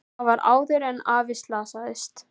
Það var áður en afi slasaðist.